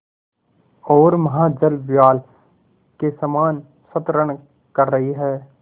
ओर महाजलव्याल के समान संतरण कर रही है